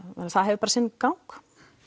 það hefur bara sinn gang